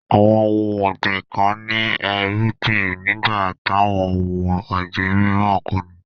Awọn ọ̀hun ọ̀gbin kàn ní èrùgbìn nígbà t'awọn ọ̀hun ọ̀gbin m̀ìràn kòní.